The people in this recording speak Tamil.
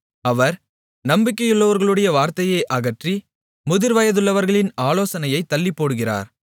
அவர் நம்பிக்கையுள்ளவர்களுடைய வார்த்தையை அகற்றி முதிர்வயதுள்ளவர்களின் ஆலோசனையைத் தள்ளிப்போடுகிறார்